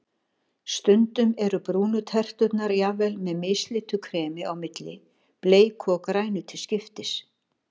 Stundum eru brúnu terturnar jafnvel með mislitu kremi á milli, bleiku og grænu til skiptis.